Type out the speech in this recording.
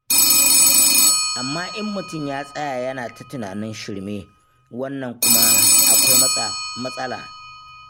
Amma in mutum ya tsaya yana ta tunanin shirme, wannan kuwa akwai matsala.